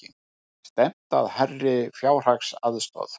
Stefnt að hærri fjárhagsaðstoð